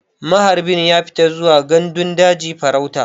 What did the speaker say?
Maharbi ya fita zuwa gandun daji farauta.